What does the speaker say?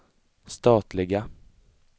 statliga